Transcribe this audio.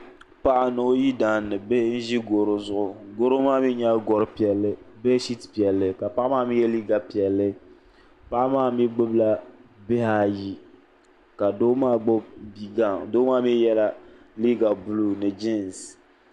Paɣa ni o yidana ni bihi n-ʒi garo zuɣu garo maa mi nyɛla gor'piɛlli beshiti piɛlli ka paɣa maa mi ye liiga piɛlli paɣa maa mi gbubila bihi ayi ka doo maa gbubi bi'gaŋa doo maa mi yela liiga buluu ni jiinsi.